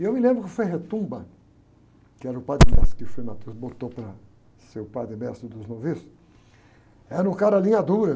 E eu me lembro que o, que era o padre-mestre que o frei botou para ser o padre-mestre dos noviços, era um cara linha dura.